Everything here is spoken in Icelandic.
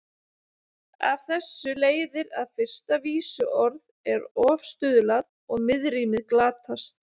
Af þessu leiðir að fyrsta vísuorð er ofstuðlað og miðrímið glatast.